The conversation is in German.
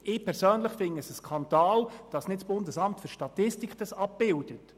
Ich persönlich finde, es sei ein Skandal, dass dies nicht vom BFS abgebildet wird.